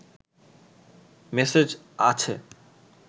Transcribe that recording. message আছে